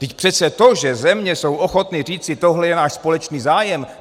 Vždyť přece to, že země jsou ochotny říci: tohle je náš společný zájem.